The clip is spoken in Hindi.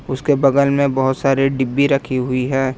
उसके बगल में बहुत सारे डिब्बी रखी हुई है।